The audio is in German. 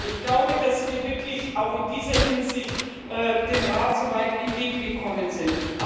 Ich glaube, dass wir wirklich auch in dieser Hinsicht dem Rat entgegengekommen sind.